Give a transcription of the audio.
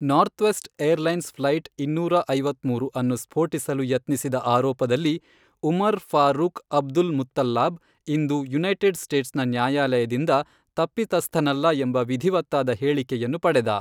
Northwest Airlines flight ಇನ್ನೂರ ಐವತ್ಮೂರು ಅನ್ನು ಸ್ಫೋಟಿಸಲು ಯತ್ನಿಸಿದ ಆರೋಪದಲ್ಲಿ ಉಮರ್ ಫಾರೂಕ್ ಅಬ್ದುಲ್ಮುತಲ್ಲಾಬ್ ಇಂದು ಯುನೈಟೆಡ್ ಸ್ಟೇಟ್ಸ್ನ ನ್ಯಾಯಾಲಯದಿಂದ 'ತಪ್ಪಿತಸ್ಥನಲ್ಲ' ಎಂಬ ವಿಧಿವತ್ತಾದ ಹೇಳಿಕೆಯನ್ನು ಪಡೆದ.